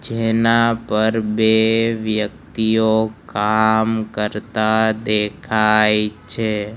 જેના પર બે વ્યક્તિઓ કામ કરતા દેખાય છે.